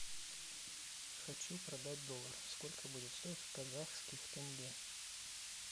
хочу продать доллар сколько будет стоить в казахских тенге